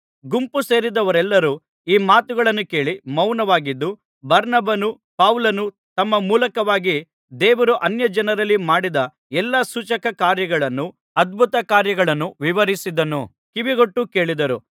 ಗುಂಪುಸೇರಿದ್ದವರೆಲ್ಲರೂ ಈ ಮಾತುಗಳನ್ನು ಕೇಳಿ ಮೌನವಾಗಿದ್ದು ಬಾರ್ನಬನೂ ಪೌಲನೂ ತಮ್ಮ ಮೂಲಕವಾಗಿ ದೇವರು ಅನ್ಯಜನರಲ್ಲಿ ಮಾಡಿದ್ದ ಎಲ್ಲಾ ಸೂಚಕ ಕಾರ್ಯಗಳನ್ನೂ ಅದ್ಭುತಕಾರ್ಯಗಳನ್ನೂ ವಿವರಿಸಿದ್ದನ್ನು ಕಿವಿಗೊಟ್ಟು ಕೇಳಿದರು